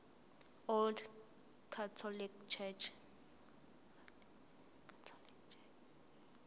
old catholic church